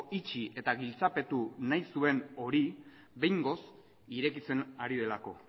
itxi eta giltzapetu nahi zuen hori behingoz irekitzen ari delako